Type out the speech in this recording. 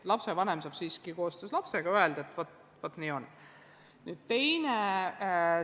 Lapsevanem peaks siiski koostöös lapsega saama öelda, et teeme nii.